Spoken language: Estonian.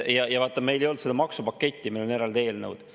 Meil ei olnud seda maksupaketti, meil olid eraldi eelnõud.